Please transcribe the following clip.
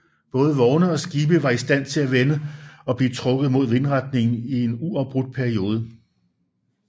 Både vogne og skibe var i stand til at vende og blive trukket imod vindretningen i en uafbrudt periode